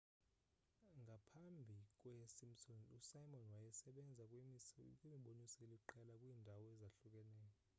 ngaphambi kwesimpsons usimon wayesebenze kwimiboniso eliqela kwiindawo ezahlukeneyo